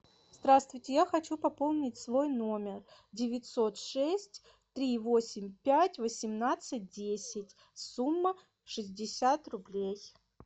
здравствуйте я хочу пополнить свой номер девятьсот шесть три восемь пять восемнадцать десять сумма шестьдесят рублей